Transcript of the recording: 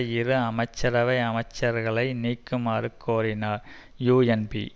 இரு அமைச்சரவை அமைச்சர்களை நீக்குமாறும் கோரினார் யூஎன்பி